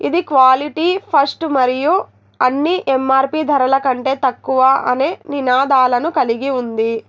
ఇది quality first మరియు అన్ని ఎం_ఆర్_పి ధరల కంటే తక్కువ అనె నినాదాలను కలిగి ఉంది.